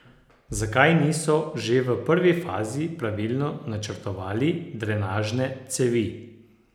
Zakaj niso že v prvi fazi pravilno načrtovali drenažne cevi?